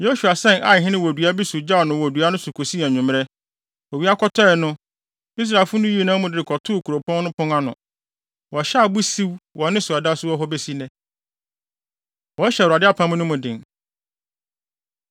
Yosua sɛn Ai hene wɔ dua bi so gyaw no wɔ dua no so kosii anwummere. Owia kɔtɔe no, Israelfo no yii amu no de no kɔtoo kuropɔn no pon ano. Wɔhyɛɛ abo siw wɔ ne so a ɛda so wɔ hɔ besi nnɛ. Wɔhyɛ Awurade Apam No Mu Den